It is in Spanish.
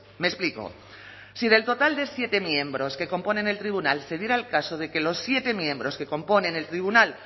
me explico si del total de siete miembros que componen el tribunal se diera el caso de que los siete miembros que componen el tribunal